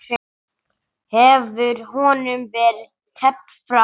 Hefur honum verið teflt fram?